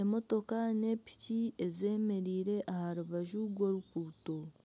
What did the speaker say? emotooka n'epiki ezemereire aha rubaju rw'oruguuto.